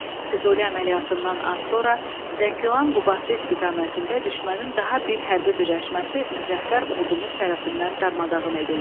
Füzuli əməliyyatından az sonra Zəngilan-Qubadlı istiqamətində düşmənin daha bir hərbi birləşməsi müzəffər ordumuz tərəfindən darmadağın edildi.